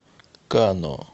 кано